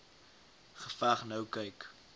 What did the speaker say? geveg nou kyk